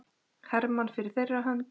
Hermann fyrir þeirra hönd.